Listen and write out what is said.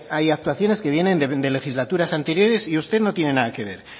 hay actuaciones que vienen de legislaturas anteriores y usted no tienen nada que ver